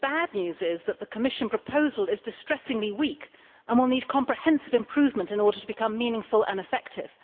the bad news is that the Commission proposal is distressingly weak and will need comprehensive improvement in order to become meaningful and effective.